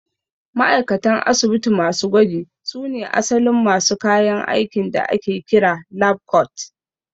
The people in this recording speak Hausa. Ma'aikatan asibiti masu gwaji su ne asalin masu kayan aikin da ake kira 'lab coat'